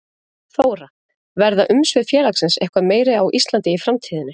Þóra: Verða umsvif félagsins eitthvað meiri á Íslandi í framtíðinni?